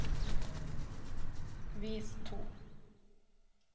vis to